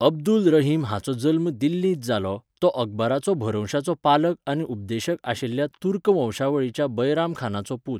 अब्दुल रहीम हाचो जल्म दिल्लींत जालो, तो अकबराचो भरवंशाचो पालक आनी उपदेशक आशिल्ल्या तुर्क वंशावळीच्या बैराम खानाचो पूत,